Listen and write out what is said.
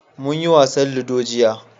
Munyi wasan ludo jiya.